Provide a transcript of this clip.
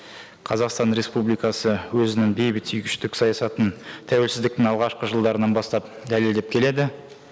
қазақстан республикасы өзінің бейбітсүйгіштік саясатын тәуелсіздіктің алғашқы жылдарынан бастап дәлелдеп келеді